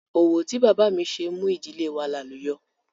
Òwò tí bàbá mi ṣe mú ìdílé wa làlùyọ̀